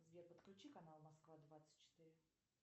сбер подключи канал москва двадцать четыре